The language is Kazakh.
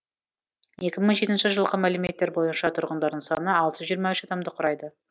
екі мың жетінші жылғы мәліметтер бойынша тұрғындарының саны алты жүз жиырма үш адамды құрайды